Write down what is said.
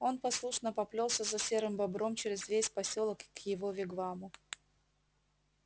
он послушно поплёлся за серым бобром через весь посёлок к его вигваму